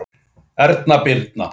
Erna Birna.